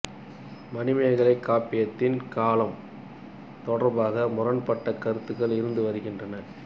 மணிமேகலை காப்பியத்தின் காலம் தொடர்பாக முரண்பட்ட கருத்துகள் இருந்து வருகின்றன